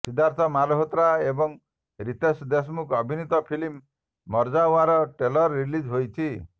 ସିଦ୍ଧାର୍ଥ ମଲହୋତ୍ରା ଏବଂ ରୀତେଶ ଦେଶମୁଖ ଅଭିନୀତ film Marjaavaan trailer release ହୋଇଛି